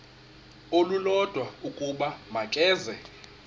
olulodwa ukuba makeze